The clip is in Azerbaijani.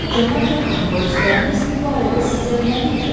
Cənab Dekron, polisləriniz bu barədə sizə nə deyiblər?